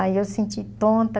Aí eu senti tonta.